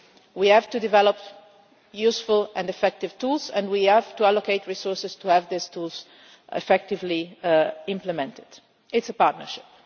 We have to develop useful and effective tools, and we have to allocate resources to have those tools effectively implemented. It is a partnership.